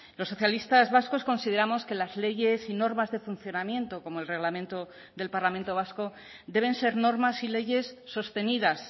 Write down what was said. los socialistas vascos consideramos que las leyes y normas de funcionamiento como el reglamento del parlamento vasco deben ser normas y leyes sostenidas